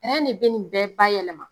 de bɛ nin bɛɛ nin bɛɛ ba yɛlɛma!